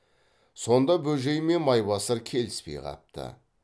сонда бөжей мен майбасар келіспей қапты